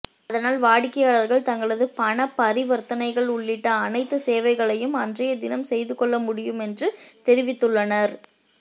அதனால் வாடிக்கையாளர்கள் தங்களது பணப்பரிவர்த்தனைகள் உள்ளிட்ட அனைத்து சேவைகளையும் அன்றைய தினம் செய்துகொள்ள முடியும் என்று தெரிவித்துள்ளனர்